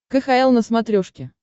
кхл на смотрешке